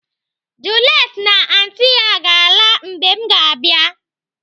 Juliet na anti ya ga-ala mgbe m ga-abịa.